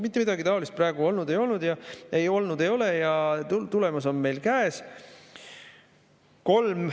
Mitte midagi taolist praegu olnud ei ole ja tulemus on meil käes.